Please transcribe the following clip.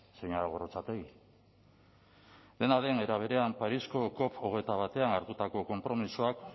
señora gorrotxategi dena den era berean parisko cop hogeita batean hartutako konpromisoak